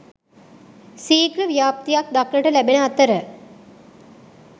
සීඝ්‍ර ව්‍යාප්තියක් දක්නට ලැබෙන අතර